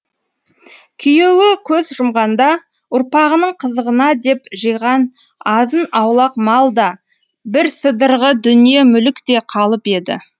күйеуі көз жұмғанда ұрпағының қызығына деп жиған азын аулақ мал да бір сыдырғы дүние мүлік те калып еді